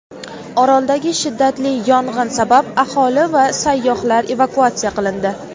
Oroldagi shiddatli yong‘in sabab aholi va sayyohlar evakuatsiya qilindi.